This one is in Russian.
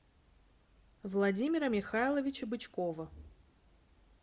владимира михайловича бычкова